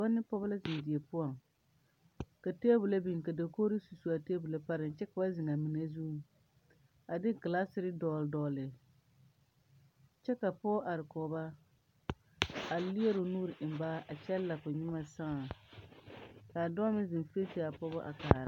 Dɔbɔ ne pɔgeba la zeŋ die poɔŋ ka tebole biŋ dagori su su a tebole pare kyɛ ka ba zeŋ a mine zuŋ a de kelasere dogle dogle kyɛ ka pɔge are kɔge ba a leɛ o nuuri eŋ ba a kyɛ la ka o nyemɛ saa ka a dɔɔ meŋ zeŋ feese a pɔge a kaara.